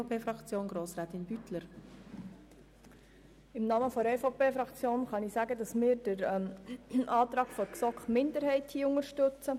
Im Namen der EVP-Fraktion teile ich Ihnen mit, dass wir den GSoKMinderheitsantrag unterstützen.